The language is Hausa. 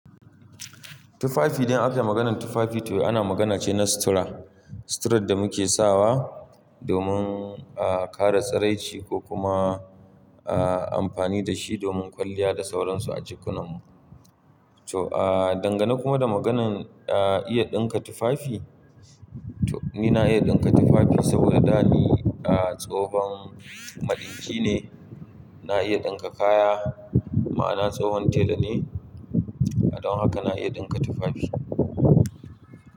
Tufafi idan aka yi maganan tufafi tuh ana magana ce na sutura. Suturar da muke sawa domin, ah, kare tsiraici ko kuma, ah, amfani da shi domin kwalliya da sauransu a jikunan mu. To, ah, dangane kuma da maganan, ah, iya ɗinka tufafi, to ni na iya ɗinka tufafi saboda da ni, ah, tsohon madinki ne. Na iya ɗinka kaya ma'ana tsohon tela ne. Don haka na iya ɗinka tufafi.